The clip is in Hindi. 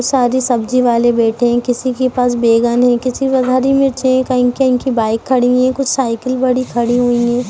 सारे सब्जी वाले बैठे है किसी के पास बैंगन है किसी के पास हरी मिर्च है कही कही बाइक खड़ी हुई है कुछ साइकिल बड़ी खड़ी हुई है।